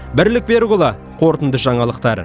бірлік берікұлы қорытынды жаңалықтар